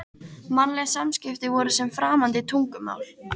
Mannleg samskipti voru sem framandi tungumál.